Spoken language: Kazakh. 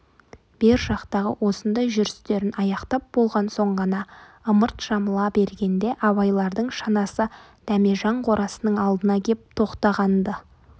бер жақтағы осындай жүрістерін аяқтап болған соң ғана ымырт жабыла бергенде абайлардың шанасы дәмежан қорасының алдына кеп тоқтаған-ды